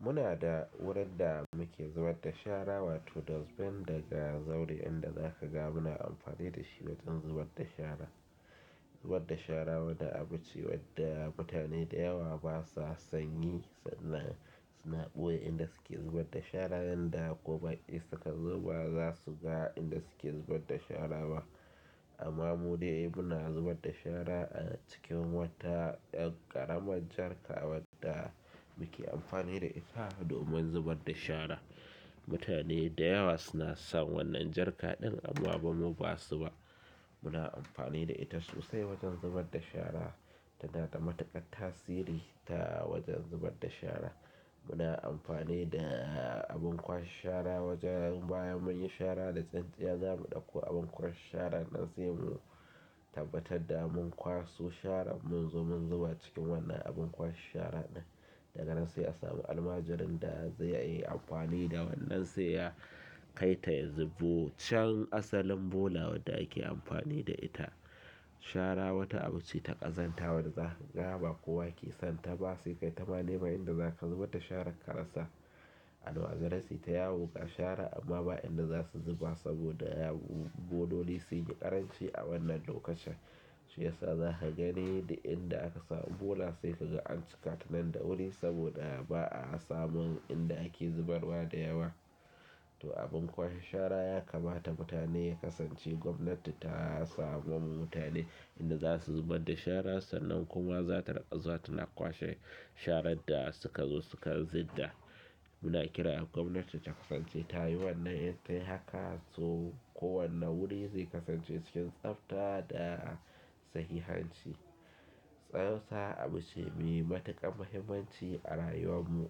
Muna da wurin da muke zubarda shara, wato dustbin daga zauren inda za ka ga muna amfani da shi wajen zubarda shara. Zubarda shara wani abu ce wadda mutane da yawa ba sa sanyi sannan suna buye inda suke zubarda shara yanda gobe insu ka zo ba za su ga inda suke zubarda shara ba. Amma mu dai muna zubarda shara a cikin wata yar ƙaramar jarka wadda muke amfani da ita domin zubarda shara. Mutane da yawa suna san wannan jarka ɗin amma bamu ba su ba. Muna amfani da ita sosai wajen zubarda shara tana da matuƙar tasiri ta wajen zubarda shara. Muna amfani da abin kwashe shara wajen bayan mun yi shara da tsantsiya zamu dako abin kwashe shara nan sai mu tabbatar da mun kwaso sharan mun zo mun zuba cikin wannan abin kwashe shara ɗin. Daga nan sai a samu almajirin da ze yi amfani da wannan sai ya kai ta ya zuba can asalin bola wanda ake amfani da ita. Shara wata abu ce ta ƙazanta wanda za kaga ba kowa ke san ta ba, sai kai ta ma neman inda zaka zubar da sharan ka rasa almajirai suyi ta yawo ga shara amma ba inda za su zuba saboda yau bololi sun yi ƙaranci a wannan lokacin. Shiya sa za ka gani duk inda aka samu bola sai ka ga an cika ta nan da wuri saboda ba a samun inda ake zubarwa da yawa. To abin kwashe shara ya kamata mutane kasance gwamnati ta samo mun ma mutane inda za su zubar da shara sannan kuma za ta rinƙa zuwa ta na kwashe sharan da suka zo suka zidda. Muna kira gwamnati ta kasance tayi wannan itayi haka so ko wane wuri zai kasance cikin tsafta da sahihanci. Tsantsa abu ce me matuƙar muhimmanci a rayuwar mu.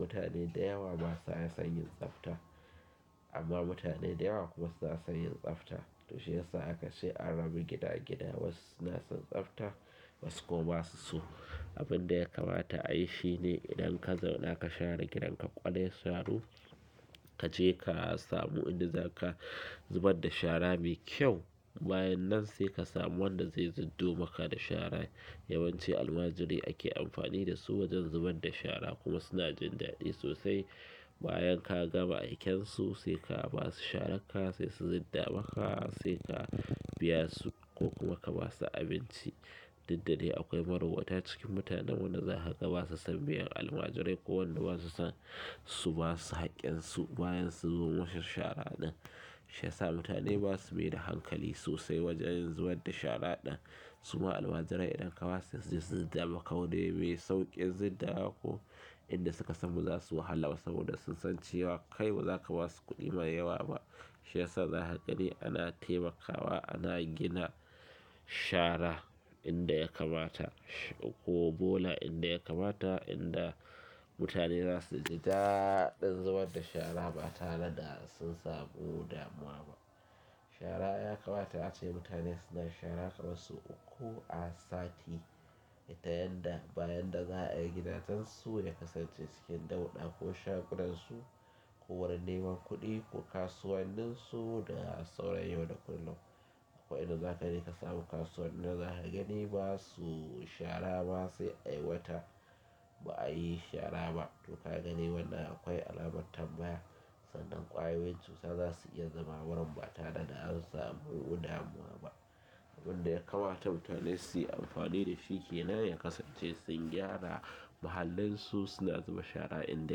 Mutane da yawa ba sa san yin tsafta amma mutane da yawa kuma su na san yin tsafta. To shi ya sa aka ce a rabu gida gida wasu suna son tsafta wasu kuma ba su so. Abun da ya kamata a yi shi ne, idan ka zauna ka share gidan ka ƙwarai sharu kaje ka samu inda za ka zubar da shara me kyau. Bayan nan sai ka samu wanda zai ziddo maka da shara. Yawanci almajirai ake amfani da su wajen zubarda shara kuma suna jin daɗi sosai. Bayan ka gama aikensu sai ka ba su sharan ka sai su zidda maka sai ka biya su ko kuma ka ba su abinci. Duk da dai akwai marowata cikin mutanen wanda za ka ga ba su san biyan almajirai ko wanda ba su san su ba su haƙƙin su bayan su zo sun wuce shara ɗin. Shi ya sa mutane ba su maida hankali sosai wajen zubarda shara ɗin. Su ma almajirai idan ka ba su su zida maka wuri me sauƙin zida wa ko inda suka san ba za su wahala ba saboda sun san cewa kai bazaka ba su kuɗi mai yawa ba. Shi yasa za ka gani a na taimakawa a na gina shara inda ya kamata, shi kuma inda ya kamata inda mutane zasu ji daɗin zubar da shara ba tare da sun samu damuwa ba. Shara ya kamata ace mutane suna shara ƙaman sau uku a sati. Ta yanda bayan da za a yi gidajen su ya kasance cikin ɗauɗa ko shagunan su ko wurin neman kuɗi ko kasuwannin su da sauran yau da kullum. Akwai inda za ka je ka samu kasuwa inda za ka gani ba su shara ba sai ai wata ba a yi shara ba. To ka gani wannan akwai alamar tambaya sannan ƙwayoyin cuta za su iya zama wurin ba tare da an samu damuwa ba. Abunda ya kamata mutane suyi amfani da shi kenan ya kasance sun gyara muhallin su suna zuba shara inda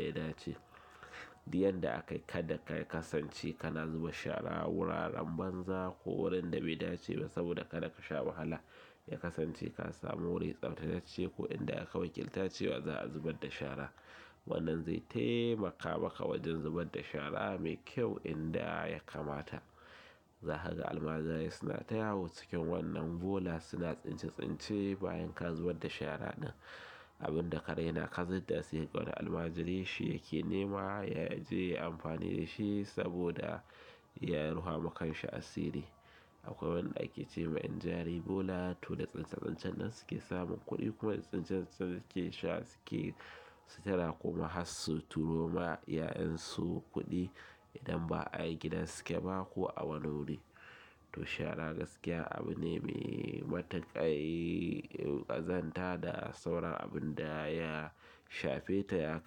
ya dace. Duk yar da aka yi kada ka kasance kana zuba shara a wuraren banza ko wurin da bai dace ba saboda kada ka sha wahala. Ya kasance ka samu wuri tsaftace ko inda aka wakilta cewa za a zubar da shara. Wannan zai taimaka ma ka wajen zubarda shara me kyau inda ya kamata. Za ka ga almajirai suna ta yawo cikin wannan bola suna tsince tsince bayan ka zubar da shara ɗin. Abin da ka raina ka zidda sai ka ga wani almajiri shi yake nema ya je ya yi amfani da shi saboda ya ruha ma kanshi asiri. Akwai wanda ake ce ma ƴan jari bola to da tsince tsancen nan suke samun kuɗi kuma tsince tsancen su suke sutura kuma har su turo ma iya'yen su kuɗi idan ba a ai gida suke ba ko a wuri. To shara gaskiya abu ne me matuƙar ƙazanta da sauran abun da ya shafe ta ya.